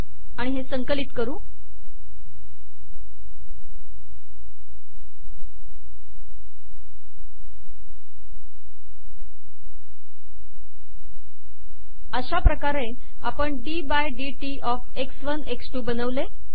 आता हे संकलित करूअशा प्रकार आपण d by d t O F x one x two बनवले